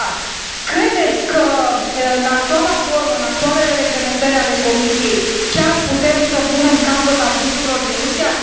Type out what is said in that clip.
dar credeți că în actuala formă, în actualele reglementări ale Comisiei, chiar putem să punem capăt abuzurilor din Rusia?